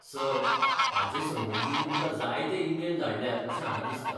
Sir, हाचे संबंदीं तुमकां जायते ईमेल धाडल्यात अशें हांगा दिसता.